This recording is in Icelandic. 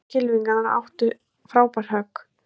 Nokkrir kylfingar áttu frábær högg